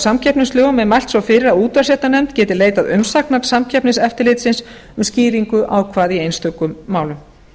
samkeppnislögum er mælt svo fyrir að útvarpsréttarnefnd geti leitað umsagnar samkeppniseftirlitsins um skýringu ákvæða í einstökum málum